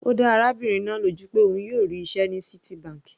Ó dá arábìnrin náà lójú pé òun yóò rí iṣẹ́ ní Citibank.